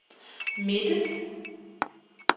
midte